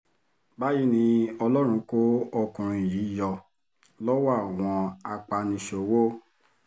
báyìí ni ọlọ́run kó ọkùnrin yìí yọ lọ́wọ́ àwọn apaniṣòwò